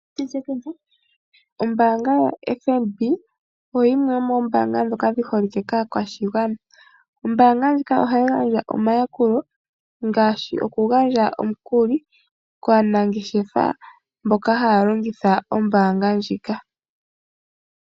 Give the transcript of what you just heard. Ombaanga yaFNB oyo yimwe yomoombaanga dhoka dhiholike kaakwashigwana. Ombaanga ndjika oha yi gandja omayakulo ngaashi oku gandja omukuli kaanangeshefa mboka haya longitha oombaanga ndjika.